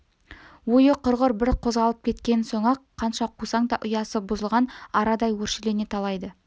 ойы құрғыр бір қозғалып кеткен соң-ақ қанша қусаң да ұясы бұзылған арадай өршелене талайды